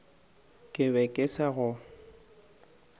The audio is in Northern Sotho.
ke be ke sa go